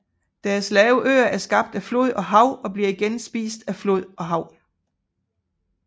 Deres lave øer er skabt af flod og hav og bliver igen spist af flod og hav